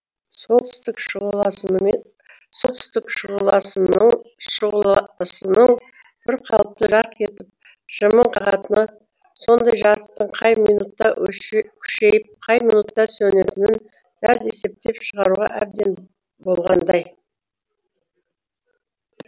солтүстік шұғыласынын бір қалыпты жарқ етіп жымың қағатыны сондай жарықтың қай минутта күшейіп қай минутта сөнетінін дәл есептеп шығаруға әбден болғандай